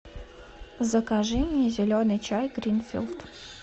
закажи мне зеленый чай гринфилд